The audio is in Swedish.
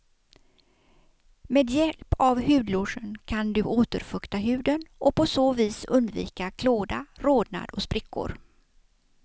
Med hjälp av hudlotion kan du återfukta huden och på så vis undvika klåda, rodnad och sprickor.